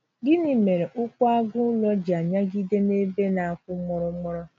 Gịnị mere ụkwụ agụ ụlọ ji anyagide n’ebe na - akwọ mụrụmụrụ?